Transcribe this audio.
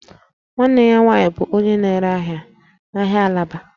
Nwanne ya nwanyị bụ onye na-ere ahịa n'ahịa Alaba